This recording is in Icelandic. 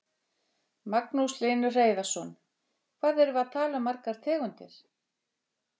Magnús Hlynur Hreiðarsson: Hvað erum við að tala um margar tegundir?